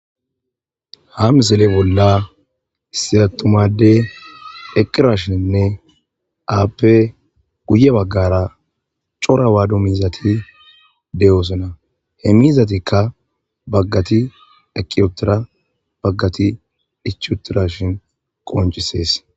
Ha misile bolla issi attuma addey eqqidashinne,appe guye baggara cora Wado Miizati de'osona. He miizatika baggati eqqi uttida,baggati ichchi uttidashin qonccisees.